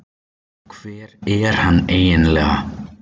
Hver er hann eiginlega?